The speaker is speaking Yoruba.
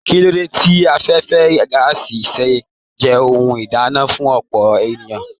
Kilo dé tí afẹfẹ gàásí ṣe jẹ ohùn ìdáná fún ọpọ ènìyàn?